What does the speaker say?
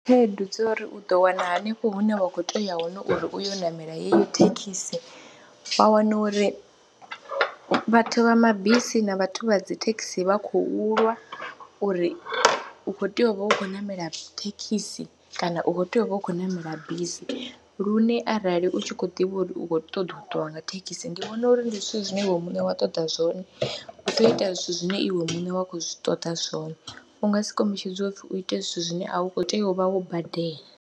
Khaedu dzo uri u ḓo wana hanefho hune wa kho tea u ya hone uri u yo u ṋamela heyi thekhisi wa wana uri vhathu vha mabisi na vhathu vha dzi thekhisi vha khou lwa uri u khou tea u vha u khou ṋamela thekhisi kana u khou tea u vha u khou ṋamela bisi lune arali u tshi khou ḓivha uri u khou ṱoḓa u ṱuwa nga thekhisi, ndi vhona uri ndi zwithu zwine iwe muṋe wa ṱoḓa zwone u tea u ita zwithu zwine iwe muṋe wa khou zwi ṱoḓa zwone, u nga si kombetshedze u pfhi u ite zwithu zwine a u khou tea u vha wo badela.